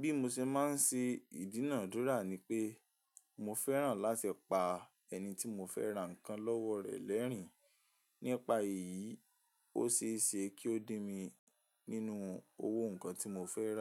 Bí mo ṣe máa ń ṣe ìdúnàádúrà ni pé mo fẹ́ràn láti pa ẹni tí mo fẹ́ rà nǹkan lọ́wọ́ rẹ̀ lẹ́rìn. Nípa èyí, ó ṣe é ṣe kí ó dí mi nínú owó nǹkan tí mo fẹ́ rà.